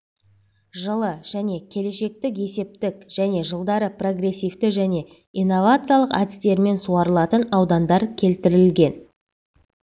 жылы және келешектік есептік және жылдары прогрессивті және инновациялық әдістерімен суарылатын аудандар келтірілген